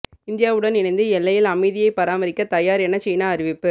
இந்தியாவுடன் இணைந்து எல்லையில் அமைதியை பராமரிக்க தயார் என சீனா அறிவிப்பு